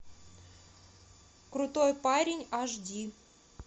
крутой парень аш ди